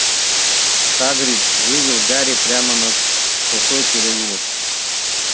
хагрид вывел гарри прямо на косой переулок